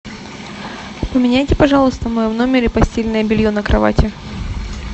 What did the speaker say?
поменяйте пожалуйста в моем номере постельное белье на кровати